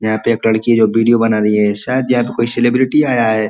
यहाँ पे एक लड़की है जो वीडियो बना रही है। शायद यहाँ पे कोई सेलिब्रिटी आया है।